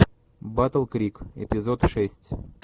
батл крик эпизод шесть